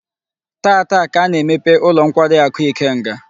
Taata ka a na-emepe ulo nkwari aku Ikenga